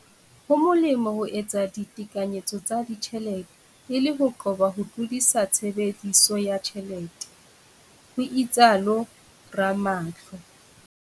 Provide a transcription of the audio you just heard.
Ho molemo ho etsa ditekanyetso tsa ditjhelete e le ho qoba ho tlodisa tshebediso ya tjhelete, ho itsalo Ramahlo.